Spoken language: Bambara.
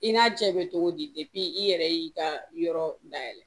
I n'a cɛ bɛ cogo di i yɛrɛ y'i ka yɔrɔ dayɛlɛ